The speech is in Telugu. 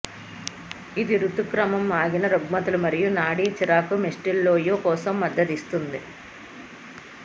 ఇది రుతుక్రమం ఆగిన రుగ్మతలు మరియు నాడీ చిరాకు మిస్టేల్టోయ్ కోసం మద్దతిస్తుంది